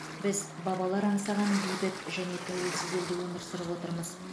біз бабалар аңсаған бейбіт және тәуелсіз елде өмір сүріп отырмыз